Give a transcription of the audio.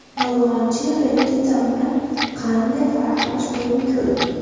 Yolg‘onchi repetitorni qanday farqlash mumkin?